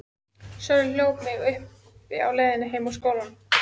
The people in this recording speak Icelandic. Sölvi hljóp mig uppi á leiðinni heim úr skólanum.